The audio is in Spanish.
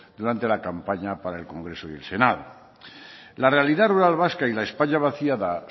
durante la campaña para el congreso y el senado la realidad rural vasca y la españa vaciada